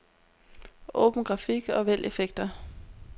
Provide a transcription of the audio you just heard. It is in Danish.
Åbn grafik og vælg effekter.